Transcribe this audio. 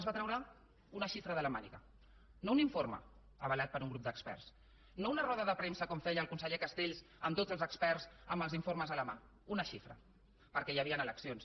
es va treure una xifra de la màniga no un informe avalat per un grup d’experts no una roda de premsa com feia el conseller castells amb tots els experts amb els informes a la mà una xifra perquè hi havien eleccions